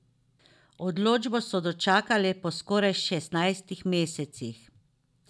Odločbo so dočakali po skoraj šestnajstih mesecih.